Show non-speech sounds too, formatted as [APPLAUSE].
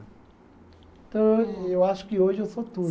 Então, eu eu acho que hoje eu sou [UNINTELLIGIBLE]